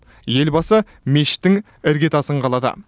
елбасы мешіттің іргетасын қалады